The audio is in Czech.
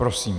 Prosím.